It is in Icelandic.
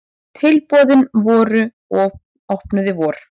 Tilboðin voru opnuð í vor.